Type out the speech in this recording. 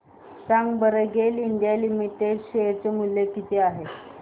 सांगा बरं GAIL India limited share मूल्य किती आहे